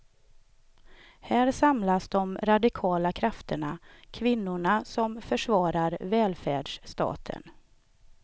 Här samlas de radikala krafterna, kvinnorna som försvarar välfärdsstaten.